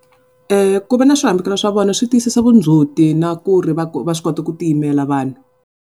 Ku va na swihambukelo swa vona swi tiyisisa vundzhuti na ku ri va va swi kota ku ti yimela vanhu.